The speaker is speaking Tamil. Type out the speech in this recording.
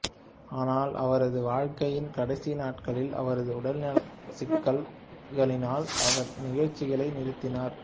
ஆனால் அவரது வாழ்க்கையின் கடைசி நாட்களில் அவரது உடல்நலச்சிக்கல்களினால் அவர் நிகழ்ச்சிகளை நிறுத்தினார்